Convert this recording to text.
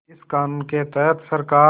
इस क़ानून के तहत सरकार